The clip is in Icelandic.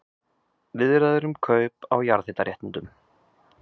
Viðræður um kaup á jarðhitaréttindum